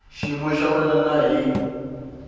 xiyimo xa wena na hi